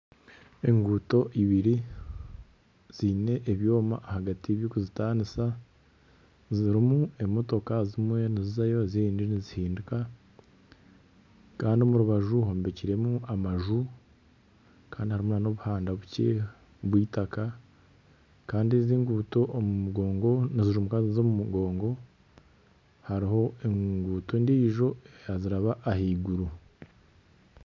Enguuto ibiri ziine ebyoma hagati ebirikuzitaanisa. Zirimu emotoka zimwe nizizayo ezindi nizihinduka. Kandi omu rubaju hombekiremu amaju kandi harimu n'obuhanda bukye bw'eitaka. Kandi ezi enguuto omu mugongo nizimuka niziza omu mugongo. Hariho enguuto endiijo niziraba ahaiguru.